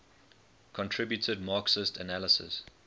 contributed marxist analyses